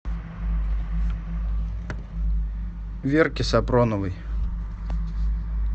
верке сапроновой